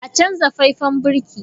A canza faifan birki!